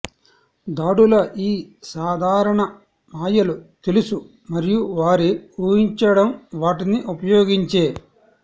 దాడుల ఈ సాధారణ మాయలు తెలుసు మరియు వారి ఊహించడం వాటిని ఉపయోగించే